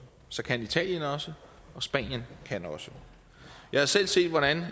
så kan italien også og spanien kan også jeg har selv set hvordan